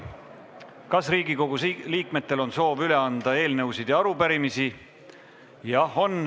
Kas Riigikogu liikmetel on soov üle anda eelnõusid ja arupärimisi?